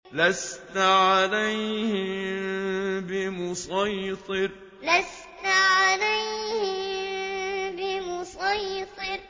لَّسْتَ عَلَيْهِم بِمُصَيْطِرٍ لَّسْتَ عَلَيْهِم بِمُصَيْطِرٍ